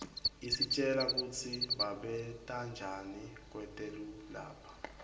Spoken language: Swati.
isitjela kutsi babentanjani kwetelu lapha